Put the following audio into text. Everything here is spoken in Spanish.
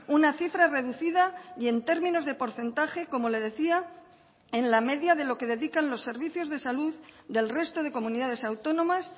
una cifra reducida y en términos de porcentaje como le decía en la media de lo que dedican los servicios de salud del resto de comunidades autónomas